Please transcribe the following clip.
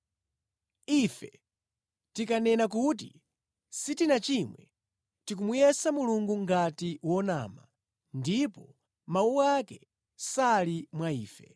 Ife tikanena kuti sitinachimwe, tikumutenga Mulungu kukhala wonama, ndipo Mawu ake sali mwa ife.